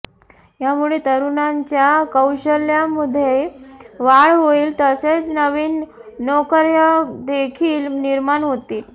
यामुळे तरुणांच्या कौशल्यामध्ये वाढ होईल तसेच नवीन नोकर्या देखील निर्माण होतील